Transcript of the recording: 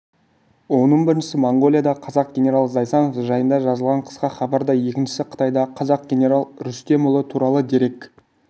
оның біріншісі моңғолиядағы қазақ генералы зайсанов жайында жазылған қысқа хабар да екіншісі қытайдағы қазақ генералы рүстемұлы туралы дерек